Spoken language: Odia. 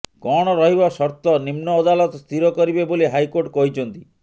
କଣ ରହିବ ସର୍ତ୍ତ ନିମ୍ନ ଅଦାଲତ ସ୍ଥିର କରିବେ ବୋଲି ହାଇକୋର୍ଟ କହିଛନ୍ତି